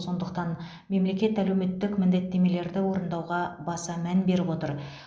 сондықтан мемлекет әлеуметтік міндеттемелерді орындауға баса мән беріп отыр